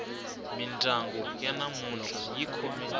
mindyangu ya namuntlha yi khome